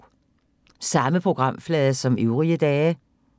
Samme programflade som øvrige dage